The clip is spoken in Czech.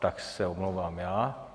Tak se omlouvám já.